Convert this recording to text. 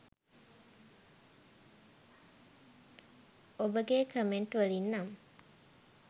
ඔබගේ කමෙන්ට් වලින් නම්